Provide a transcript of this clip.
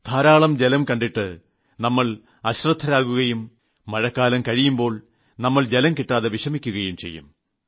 ധാരാളം ജലം കണ്ടിട്ട് നമ്മൾ അശ്രദ്ധരാകുകയും മഴക്കാലം കഴിയുമ്പോൾ നമ്മൾ ജലം കിട്ടാതെ വിഷമിക്കുകയും ചെയ്യും